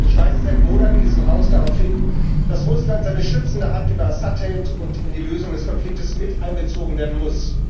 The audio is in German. Ich weise seit Monaten in diesem Haus darauf hin, dass Russland seine schützende Hand über Assad hält und in die Lösung des Konflikts mit einbezogen werden muss.